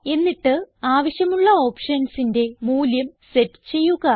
എന്നിട്ട് ആവശ്യമുള്ള ഓപ്ഷൻസിന്റെ മൂല്യം സെറ്റ് ചെയ്യുക